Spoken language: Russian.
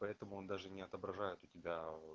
поэтому он даже не отображает у тебя